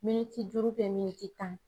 Miniti duuru miniti tan.